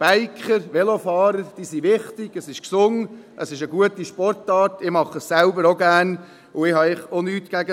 Biker, Velofahrer sind wichtig, es ist gesund, es ist eine gute Sportart, ich mache es selber ebenfalls gerne und habe eigentlich auch nichts dagegen.